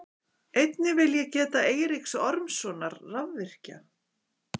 Einnig vil ég geta Eiríks Ormssonar rafvirkja.